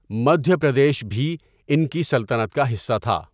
مدھیہ پردیش بھی ان کی سلطنت کا حصہ تھا۔